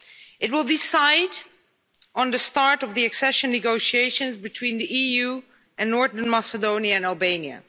It will decide on the start of the accession negotiations between the EU and Northern Macedonia and Albania.